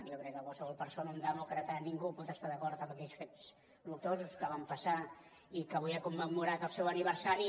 jo crec que qualsevol persona un demòcrata ningú pot estar d’acord amb aquells fets luctuosos que van passar i que avui hem commemorat el seu aniversari